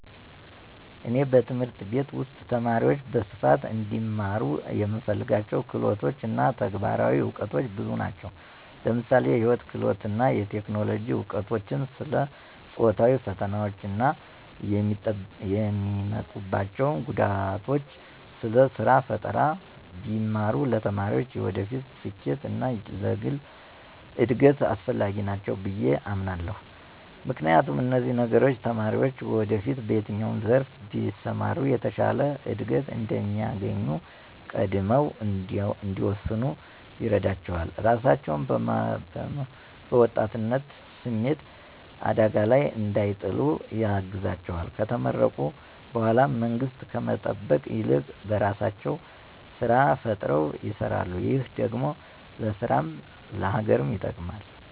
እኔ በትምህርት ቤት ውስጥ ተማሪዎች በስፋት እንዲማሩ የምፈልጋቸው ክህሎቶች እና ተግባራዊ እውቀቶች ብዙ ናቸው። ለምሳሌ የህይወት ክህሎቶች እና የቴክኖሎጂ እውቀቶች፣ ስለ ጾታዊ ፈተናዎች እና የሚያመጡአቸው ጉዳቶች፣ ስለ ስራ ፈጠራ ቢማሩ ለተማሪዎች የወደፊት ስኬት እና ለግል እድገት አስፈላጊ ናቸው ብየ አምናለሁ። ምክንያቱም፣ እነዚህ ነገሮች ተማሪዎችን ወደፊት በየትኛው ዘርፍ ቢሰማሩ የተሻለ እድገት እንደሚያገኙ ቀድመው እንዲወስኑ ይረዳቸዋል፣ ራሳቸውን በወጣትነት ስሜት አደጋ ላይ እንዳይጥሉ ያግዛቸዋል፣ ከተመረቁ በኃላ መንግስትን ከመጠበቅ ይልቅ በራሳቸው ስራ ፈጥረው ይሰራሉ ,ይህ ደግሞ ለራስም ለሀገርም ይጠቅማል።